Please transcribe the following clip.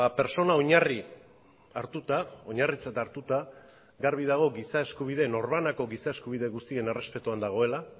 pertsona oinarri hartuta oinarritzat hartuta garbi dago giza eskubide norbanako giza eskubide guztien errespetuan dagoela